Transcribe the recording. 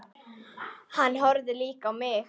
Hann horfði líka á mig.